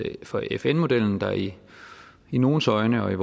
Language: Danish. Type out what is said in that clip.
for fn modellen der i i nogles øjne